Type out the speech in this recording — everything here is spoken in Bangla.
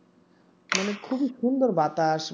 মানে খুবই সুন্দর বাতাস